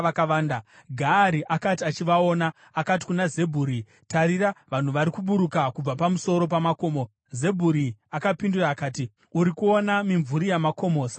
Gaari akati achivaona, akati kuna Zebhuri, “Tarira, vanhu vari kuburuka kubva pamusoro pamakomo!” Zebhuri akapindura akati, “Uri kuona mimvuri yamakomo savanhu iwe.”